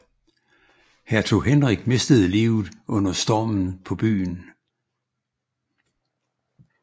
Hertug Henrik mistede livet under stormen på byen